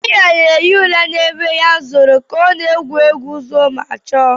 Diara na-ehi ụra n'ebe ya zoro kao na-egwu egwu zoo ma chọọ